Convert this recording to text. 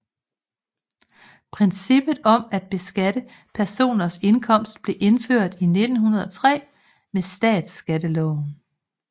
Princippet om at beskatte personers indkomst blev indført i 1903 med statsskatteloven